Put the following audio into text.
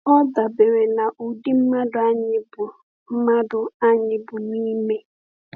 Ọ dabere n’ụdị mmadụ anyị bụ mmadụ anyị bụ n’ime.